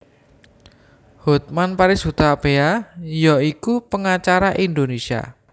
Hotman Paris Hutapea ya iku pengacara Indonesia